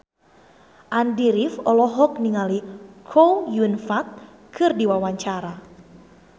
Andy rif olohok ningali Chow Yun Fat keur diwawancara